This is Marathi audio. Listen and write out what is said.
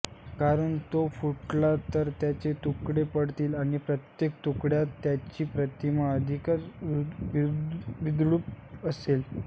कारण तो फुटला तर त्याचे तुकडे पडतील आणि प्रत्येक तुकड्यात त्यांची प्रतिमा अधिकच विद्रूप दिसेल